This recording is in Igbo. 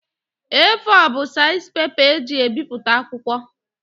A4 bụ seizi pepa e ji ebiputa akwụkwọ